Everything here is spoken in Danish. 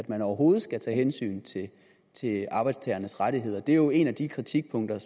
man overhovedet skal tage hensyn til arbejdstagernes rettigheder det er jo et af de kritikpunkter